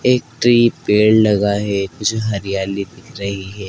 एक ट्री पेड़ लगा है कुछ हरियाली दिख रही है।